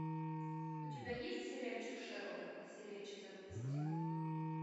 у тебя есть сериальчик шерлок серия четырнадцать